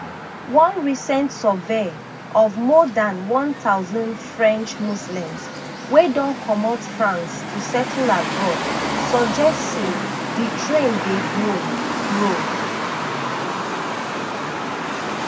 one recent survey of more dan one thousand french muslims wey don comot france to settle abroad suggest say di trend dey grow grow